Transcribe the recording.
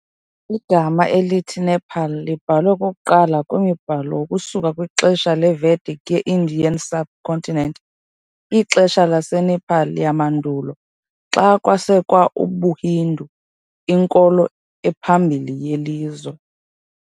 Igama elithi "Nepal" libhalwe okokuqala kwimibhalo ukusuka kwixesha leVedic ye- Indian subcontinent, ixesha laseNepal yamandulo xa kwasekwa ubuHindu, inkolo ephambili yelizwe.